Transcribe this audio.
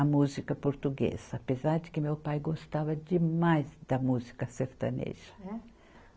A música portuguesa, apesar de que meu pai gostava demais da música sertaneja. É